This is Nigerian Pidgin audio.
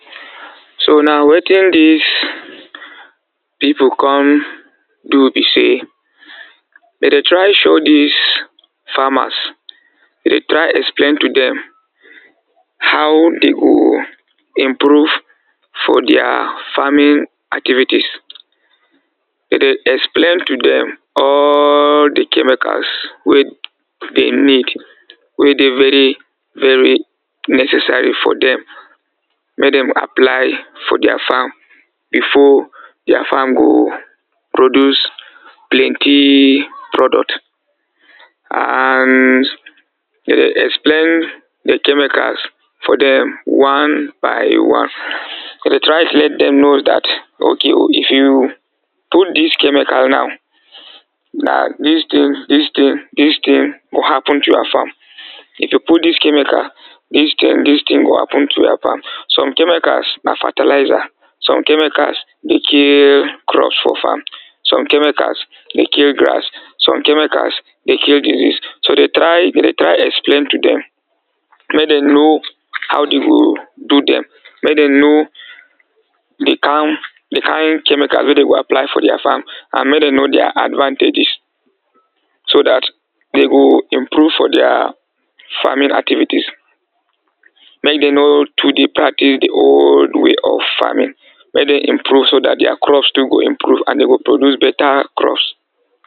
So now watin this people come do be say, dey de try show this farmers later explain to them how they go improve for their farming activities. they de explain to them all the chemicals wey them need wey de very very necessary for them make them apply for their farm before their farm go produce plenty product and they de explain the chemicals for them one by one. go de try to let them knows that, okay, if you put this chemical now na this thing, this thing, this thing will happen to your farm if you put this chemical this thing, this thing, go happen to her farm. some chemicals na fertilizer, some chemicals de kill crops for farm, some chemicals de kill grass, some chemicals de kill disease so de dey try dey try explain to dem make them may dey know how dey go do dem make dem know de kin de kin de kin chemical wey de go apply for their farm and make them know their advantages so that they go improve for their farming activities make them no too de practice the old way of farming. make them improve so that their crops too go improve and they go produce better crops.